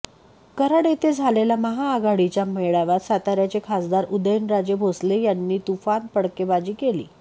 कराड येथे झालेल्या महाआघाडीच्या मेळाव्यात साताऱ्याचे खासदार उदयनराजे भोसले यांनी तुफान फटकेबाजी केली